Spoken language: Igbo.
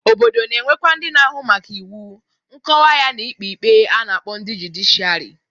Obodo na-enwekwa ndị na-ahụ maka iwu, nkọwa ya na-ikpe ikpe a na-akpọ ndị judiciari.